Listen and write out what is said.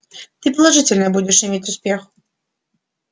ты положительно будешь иметь успех